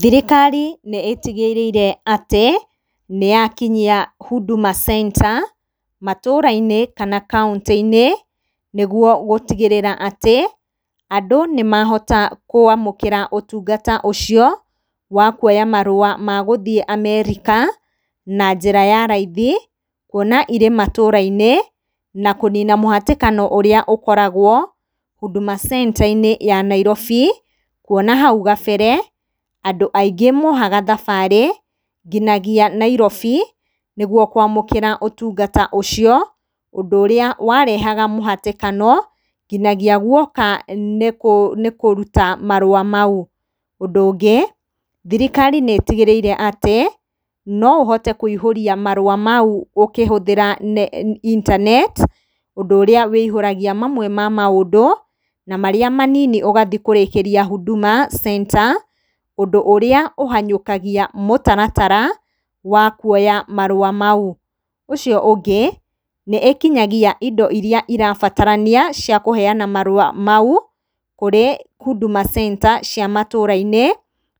Thirikari nĩ ĩtigĩrĩire atĩ, nĩyakinyia Huduma Center, matũra-inĩ kana kaũntĩ-inĩ, nĩguo gũtigĩrĩra atĩ, andũ nĩmahota kũamũkĩra ũtungata ũcio, wa kwoya marũa magũthiĩ America, na njĩra ya raithi, kwona irĩ matũra-inĩ, na kũnina mũhatĩkano ũrĩa ũkoragwo Huduma Centre-inĩ ya Nairobi, kuona hau gabere, andũ aingĩ moyaga thabarĩ, nginagia Nairobi, nĩguo kũamũkĩra ũtungata ũcio, ũndũ ũrĩa warehaga mũhatĩkano, nginagia guoka nĩ kũruta marũa mau. Ũndũ ũngĩ, thĩrĩkari nĩ ĩtigĩrĩire atĩ, no ũhote kũihũria marũa mau ũkĩhũthĩra intaneti, ũndũ ũrĩa ũihũragia mamwe wa maũndũ, na marĩa manini ũgathiĩ kũrĩkĩria Huduma Center, ũndũ ũrĩa ũhanyũkagia mũtaratara wa kuoya marũa mau. Ũcio ũngĩ, nĩ ĩkinyagia indo iria ibatarania cia kũheana marũa mau, kũrĩ Huduma Center cia matũra-inĩ,